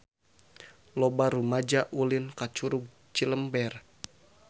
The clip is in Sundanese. Loba rumaja ulin ka Curug Cilember